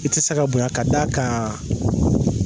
I tɛ se ka bonya ka d'a kan